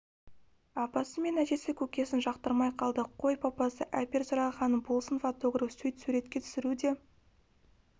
апасы мен әжесі көкесін жақтырмай қалды қой папасы әпер сұрағанын болсын фотограф сөйт суретке түсіру де